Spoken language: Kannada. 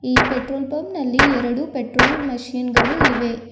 ಈ ಪೆಟ್ರೋಲ್ ಬಂಕ್ ನಲ್ಲಿ ಎರಡು ಪೆಟ್ರೋಲ್ ಮಷೀನ್ ಗಳು ಇವೆ.